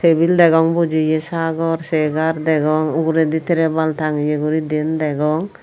tibil degong bujiye sagor segar degong uguredi terpal tangeye guri diyen degong.